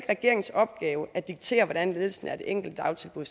regeringens opgave at diktere hvordan ledelsen af det enkelte dagtilbud